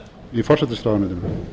í forsætisráðuneytinu